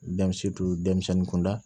denmisɛnnin kunda